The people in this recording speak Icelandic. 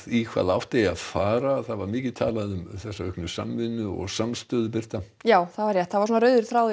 í hvaða átt eigi að fara það var mikið talað um þessa auknu samvinnu og samstöðu já það var rauður þráður